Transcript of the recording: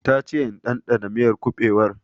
Ta che in dandana miyar kuɓewar